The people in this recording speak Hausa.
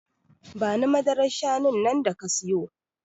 Bani madarar shanun nan da ka siyo